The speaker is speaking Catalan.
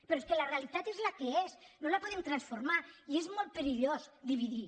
però és que la realitat és la que és no la podem transformar i és molt perillós dividir